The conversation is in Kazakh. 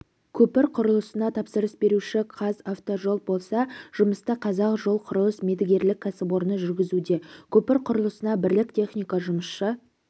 көпір құрылысына тапсырыс беруші қазавтожол болса жұмысты қазақ жол құрылыс мердігерлік кәсіпорны жүргізуде көпір құрылысына бірлік техника жұмысшы